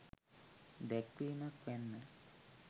දැක්වීමක් වැන්න.